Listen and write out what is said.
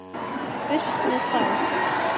Burt með þá.